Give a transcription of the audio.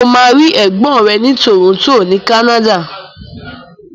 Mo ma rí ègbón rẹ ni Toronto ni Canada.